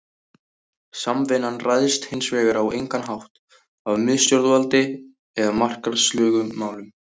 Samvinnan ræðst hins vegar á engan hátt af miðstjórnarvaldi eða markaðslögmálum.